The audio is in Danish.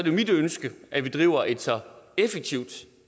er mit ønske at vi driver et så effektivt